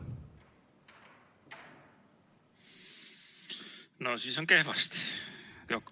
No siis on kehvasti.